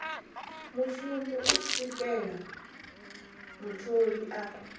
mushumi u swikela mutholi a